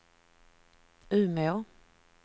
Umeå